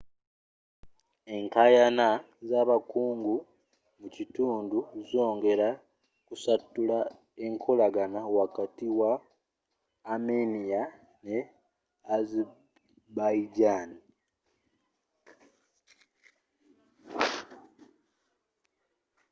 enkayana z'abakungu mukitundu zongera ku satulula nkolagana wakati wa armenia ne azerbaijan